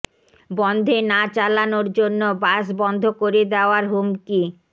বনধে না চালানোর জন্য বাস বন্ধ করে দেওয়ার হুমকি